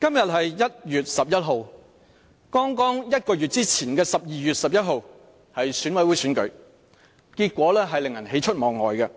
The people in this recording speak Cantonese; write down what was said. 今天是1月11日，在1個月前的12月11日是進行選舉委員會選舉的日子，選舉結果令人喜出望外，